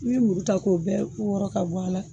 U ye muru ta k'o bɛɛ wɔɔrɔ ka bɔ a la.